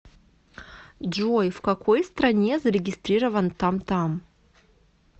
джой в какой стране зарегистрирован тамтам